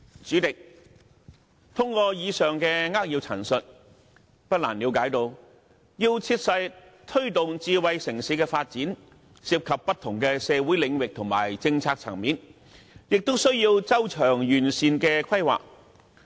主席，透過以上的扼要陳述，不難了解到要切實推動智慧城市發展，涉及不同的社會領域和政策層面，亦需要周詳完善的規劃。